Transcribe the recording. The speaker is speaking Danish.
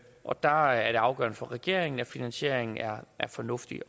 og der er det afgørende for regeringen at finansieringen er er fornuftig